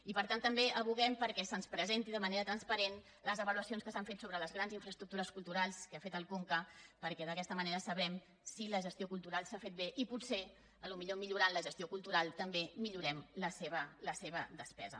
i per tant també advoquem perquè se’ns presentin de manera transparent les avaluacions que s’han fet sobre les grans infraestructures culturals que ha fet el conca perquè d’aquesta manera sabrem si la gestió cultural s’ha fet bé i potser millorant la gestió cultural també millorem la seva despesa